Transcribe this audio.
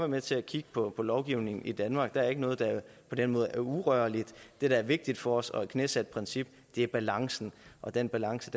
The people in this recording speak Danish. med til at kigge på lovgivningen i danmark og der er ikke noget der på den måde er urørligt det der er vigtigt for os og et knæsat princip er balancen og den balance